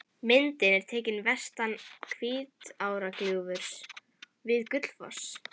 Myndin er tekin vestan Hvítárgljúfurs við Gullfoss.